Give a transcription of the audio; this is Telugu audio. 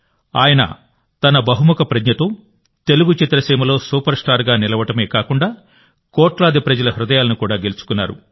ఆయన తన బహుముఖ ప్రజ్ఞతో తెలుగు చిత్రసీమలో సూపర్స్టార్గా నిలవడమే కాకుండా కోట్లాది ప్రజల హృదయాలను కూడా గెలుచుకున్నారు